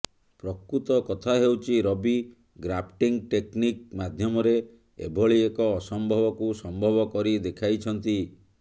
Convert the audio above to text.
ପ୍ରକୃତ କଥା ହେଉଛି ରବି ଗ୍ରାଫ୍ଟିଙ୍ଗ୍ ଟେକ୍ନିକ୍ ମାଧ୍ୟମରେ ଏଭଳି ଏକ ଅସମ୍ଭବକୁ ସମ୍ଭବ କରିଦେଖାଇଛନ୍ତି